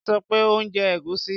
Wón sọ pé o ò jẹ ẹ̀gúsí.